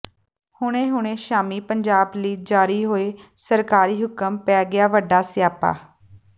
ਹੁਣੇ ਹੁਣੇ ਸ਼ਾਮੀ ਪੰਜਾਬ ਲਈ ਜਾਰੀ ਹੋਏ ਸਰਕਾਰੀ ਹੁਕਮ ਪੈ ਗਿਆ ਵੱਡਾ ਸਿਆਪਾ